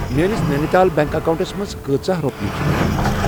میٲنِس نیٚنِتال بیٚنٛک اکاونٹَس منٛز کۭژاہ رۄپیہِ چھِ بچیمٕژ؟